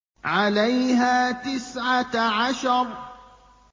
عَلَيْهَا تِسْعَةَ عَشَرَ